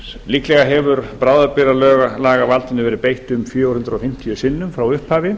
líklega hefur bráðabirgðalagavaldinu verið beitt um fjögur hundruð fimmtíu sinnum frá upphafi